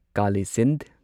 Kali Sindh